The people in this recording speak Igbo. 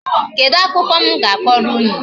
Kedu akụkọ m ga-akọrọ unu?